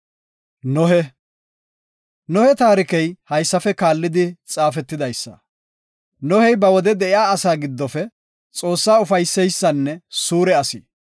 Nohe taarkey haysafe kaallidi xaafetidaysa. Nohey ba wode de7iya asa giddofe Xoossaa ufaysiyanne suure asi.